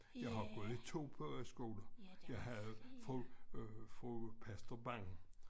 Jeg har gået i 2 pogeskoler jeg havde fru øh fru Pastor Bang